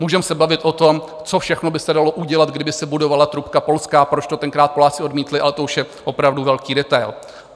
Můžeme se bavit o tom, co všechno by se dalo udělat, kdyby se budovala trubka polská, proč to tenkrát Poláci odmítli, ale to už je opravdu velký detail.